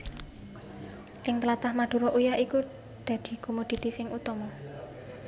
Ing tlatah Madura uyah iku dadi komoditi sing utama